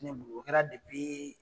Ne bolo o kɛra .